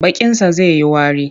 Bakinsa zai yi wari.